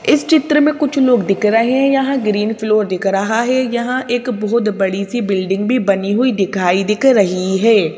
इस चित्र में कुछ लोग दिख रहे हैं यहां ग्रीन फ्लोर दिख रहा है यहां एक बहुत बड़ी सी बिल्डिंग भी बनी हुई दिखाई दिख रही है।